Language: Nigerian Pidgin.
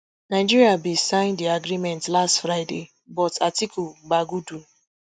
nigeria bin sign di agreement last friday but atiku bagudu